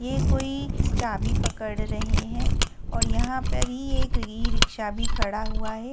ये कोई चाबी पकड़ रहे हैं और यहां पर ही एक ई रिक्शा भी खड़ा हुआ है।